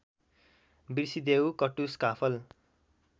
बिर्सिदेऊ कटुस काफल